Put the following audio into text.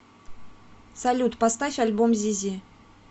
салют поставь альбом зизи